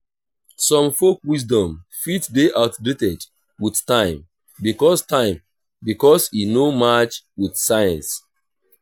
some folk wisdom fit de outdated with time because time because e no match with science